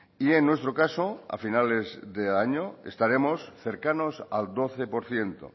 y en nuestro caso a finales de año estaremos cercanos al doce por ciento